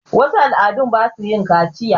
wasu al' adu ba sa yin kaciya